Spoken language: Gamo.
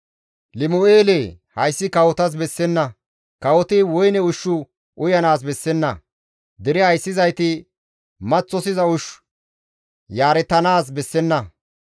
«Limu7eele hayssi kawotas bessenna; kawoti woyne ushshu uyanaas bessenna; dere ayssizayti maththosiza ushshu yaaretanaas bessenna.